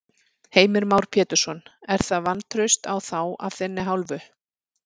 Heimir Már Pétursson: Er það vantraust á þá af þinni hálfu?